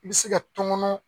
bɛ se ka tɔngɔnɔ.